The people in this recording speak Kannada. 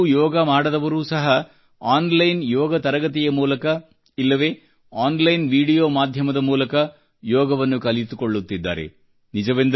ಎಂದಿಗೂ ಯೋಗ ಮಾಡದವರು ಸಹ ಆನ್ ಲೈನ್ ಯೋಗ ತರಗತಿಯ ಮೂಲಕ ಇಲ್ಲವೇ ಆನ್ ಲೈನ್ ವಿಡಿಯೋ ಮಾಧ್ಯಮದ ಮೂಲಕ ಯೋಗವನ್ನು ಕಲಿತುಕೊಳ್ಳುತ್ತಿದ್ದಾರೆ